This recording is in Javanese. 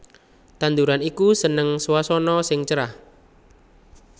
Tanduran iki seneng swasana sing cerah